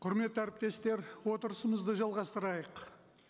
құрметті әріптестер отырысымызды жалғастырайық